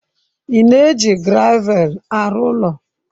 Ị na-eji gravel arụ ụlọ?